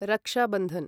रक्षा बन्धन्